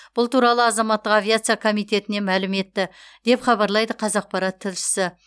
бұл туралы азаматтық авиация комитетінен мәлім етті деп хабарлайды қазақпарат тілшісі